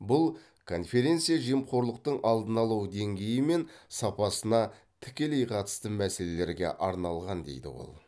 бұл конференция жемқорлықтың алдын алу деңгейі мен сапасына тікелей қатысты мәселелерге арналған дейді ол